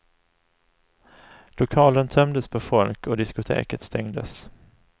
Lokalen tömdes på folk och diskoteket stängdes.